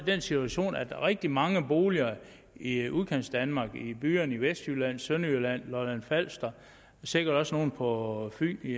den situation at rigtig mange boliger i udkantsdanmark i byerne i vestjylland sønderjylland på lolland falster og sikkert også nogle på fyn i